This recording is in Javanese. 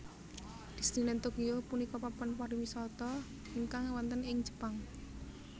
Disneyland Tokyo punika papan pariwisata ingkang wonten ing Jepang